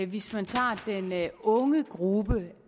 hvis man tager den unge gruppe